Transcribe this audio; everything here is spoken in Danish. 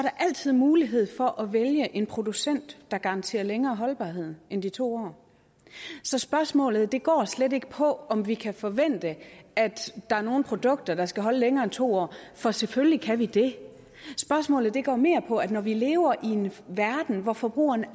altid mulighed for at vælge en producent der garanterer længere holdbarhed end de to år så spørgsmålet går slet ikke på om vi kan forvente at der er nogle produkter der skal holde længere end to år for selvfølgelig kan vi det spørgsmålet går mere på at når vi lever i en verden hvor forbrugerne